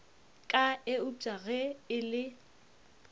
ka eupša ge e le